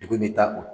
Degun bɛ taa o